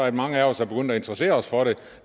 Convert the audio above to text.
at mange af os er begyndt at interessere os for det